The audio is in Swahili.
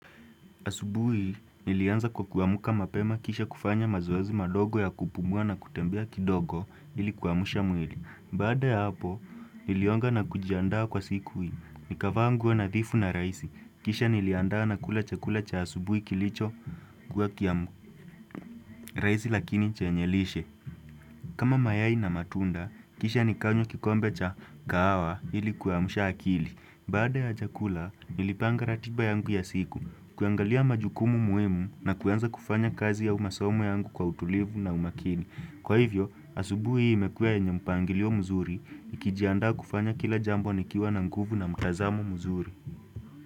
Asubuhi, nilianza kwa kuamuka mapema kisha kufanya mazoezi madogo ya kupumua na kutembea kidogo ili kuamusha mwili. Baada ya hapo, nilioga na kujiandaa kwa siku hii, nikavaa nguo nadhifu na rahisi, kisha niliandaa na kula chakula cha asubuhi kilicho kuwa kitamu, rahisi lakini chenye lishe. Kama mayai na matunda, kisha nikanywa kikombe cha kahawa ili kuamusha akili. Baada ya chakula, nilipanga ratiba yangu ya siku, kuangalia majukumu muhimu na kuanza kufanya kazi au masamo yangu kwa utulivu na umakini. Kwa hivyo, asubuhi hii imekuwa yenye mpangilio mzuri, nikijiandaa kufanya kila jambo nikiwa na nguvu na mtazamo mzuri.